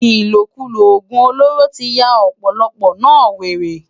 Ilókúló ógún ólóró ti yá òpòlòpò no wéré